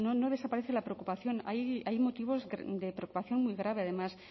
no desaparece la preocupación hay motivos de preocupación muy grave además